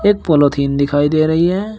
एक पॉलिथीन दिखाई दे रही है।